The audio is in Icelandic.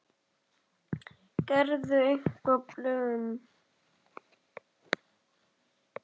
Gerirðu einhver plön?